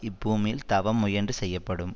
இப்பூமியில் தவம் முயன்று செய்யப்படும்